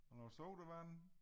Og noget sodavand